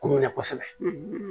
K'u minɛ kosɛbɛ